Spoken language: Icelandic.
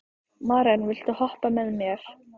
Maren, viltu hoppa með mér?